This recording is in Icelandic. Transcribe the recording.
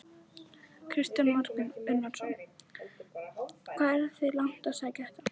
Kristján Már Unnarsson: Hvað eruð þið langt að sækja þetta?